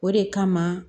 O de kama